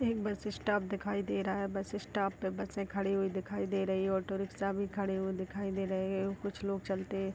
एक bus stop दिखाई दे रहा है। बस स्टॉप पे बसें खड़ी हुई दिखाई दे रही हैं। ऑटो रिक्शा भी खड़े हुए दिखाई दे रहे। कुछ लोग चलते --